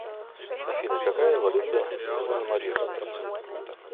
афина какая валюта у санмаринцев